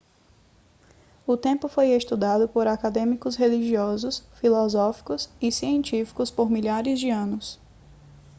o tempo foi estudado por acadêmicos religiosos filosóficos e científicos por milhares de anos